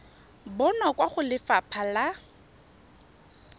bonwa kwa go lefapha la